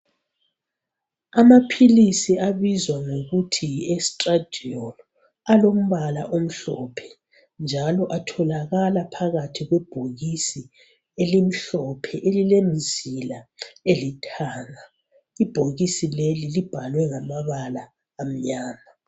Amaphilisi abizwa ngokuthi yi estradiol alombala omhlophe, njalo atholakala phakathi kwebhokisi elimhlophe elilemzila elithanga. Ibhokisi leli libhalwe ngamabala amnyama.